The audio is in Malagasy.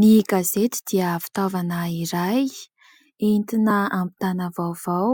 Ny gazety dia fitaovana iray entina hampitana vaovao